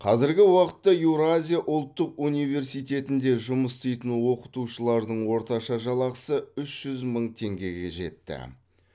қазіргі уақытта еуразия ұлттық университетінде жұмыс істейтін оқытушылардың орташа жалақысы үш мың теңгеге жетті